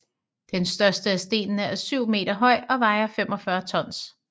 Den største af stenene er syv meter høj og vejer 45 tons